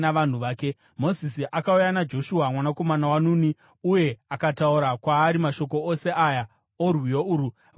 Mozisi akauya naJoshua mwanakomana waNuni uye akataura kwaari mashoko ose aya orwiyo urwu vanhu vachinzwa.